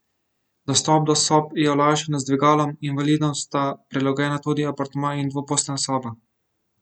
Dostop do sob je olajšan z dvigalom, invalidom sta prilagojena tudi apartma in dvoposteljna soba.